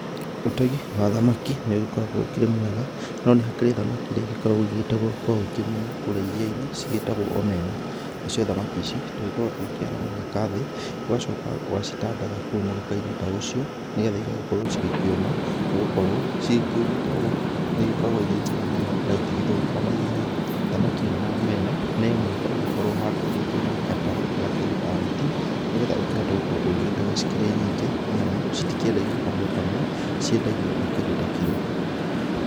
Ũtegi wa thamaki nĩũgĩkoragwo ũkĩrĩ mwega, no nĩ hakĩrĩ thamaki iria igĩkoragwo igĩgĩtegwo kwa uingĩ mũno kũrĩa irianĩ; cigĩtagwo Omena. Nacio thamaki ici tugĩkoragwo tugĩkĩara mũgeka thĩ. Ũgacoka ũgacitandatha kũu mũgekainĩ ta ũcio nĩgetha igagĩkorwo cigĩkĩuma nĩgũkorwo cikĩumĩte ũũ nĩigĩkoragwo irĩ njega mũno na itigĩthũkaga na ihenya. Thamaki ĩno ya Omena nĩ o mũhaka ũgĩkorwo handũ ũkĩrĩ na gatarũ na kĩndũ ta neti nĩ getha ũkĩhote gũkorwo ũgĩgĩtega cikĩrĩ nyingĩ nĩamu citikĩendagio kamwe kamwe; ciendagio na kĩndũ ta kiro